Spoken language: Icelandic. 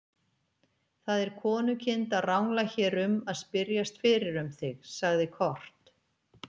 Það er konukind að rangla hér um að spyrjast fyrir um þig, sagði Kort.